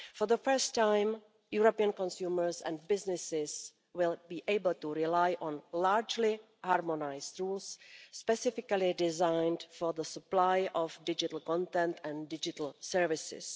For the first time, European consumers and businesses will be able to rely on largely harmonised rules, specifically designed for the supply of digital content and digital services.